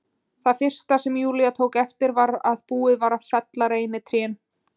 Það fyrsta sem Júlía tók eftir var að búið var að fella reynitrén.